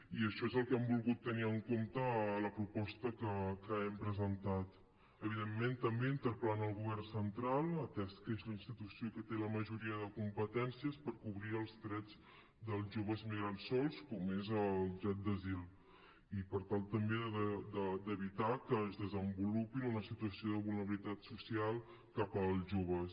i això és el que hem volgut tenir en compte a la proposta que hem presentat evidentment també interpel·lant el govern central atès que és la institució que té la majoria de competències per cobrir els drets dels joves migrants sols com és el dret d’asil i per tal també d’evitar que es desenvolupi una situació de vulnerabilitat social cap als joves